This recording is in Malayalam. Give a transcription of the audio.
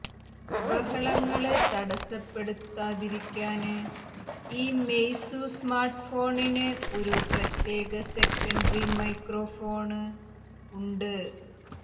ബഹളങ്ങള് തടസ്സപ്പെടുത്താതിരിക്കാന് ഈ മെയ്സു സ്മാര്ട്ട്ഫോണിന് ഒരു പ്രത്യേക സെക്കന്ററി മൈക്രോഫോണ് ഉണ്ട്